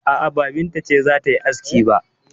A'a, ba Binta ce za ta yi aski ba.